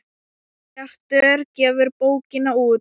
Bjartur gefur bókina út.